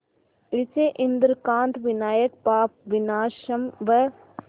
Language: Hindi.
इसे इंद्रकांत विनायक पापविनाशम व